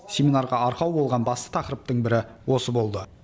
семинарға арқау болған басты тақырыптың бірі осы болды